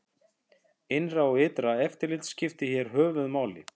Innra og ytra eftirlit skiptir hér höfuð máli.